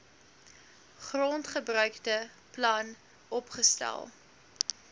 grondgebruike plan opgestel